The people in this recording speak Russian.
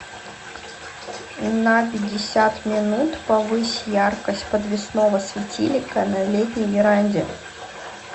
на пятьдесят минут повысь яркость подвесного светильника на летней веранде